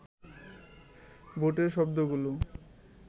বুটের শব্দগুলো